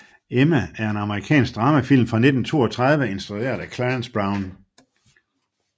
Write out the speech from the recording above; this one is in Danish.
Emma er en amerikansk dramafilm fra 1932 instrueret af Clarence Brown